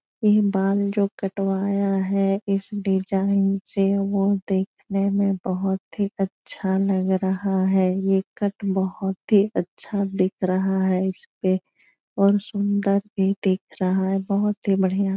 ये बाल जो कटवाया है इस डिज़ाइन से वो देखने में बहुत ही अच्छा लग रहा है। ये कट बहुत ही अच्छा दिख रहा है। इसपे और सुन्दर भी दिख रहा है। बहुत ही बढ़िया --